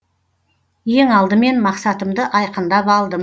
ең алдымен мақсатымды айқындап алдым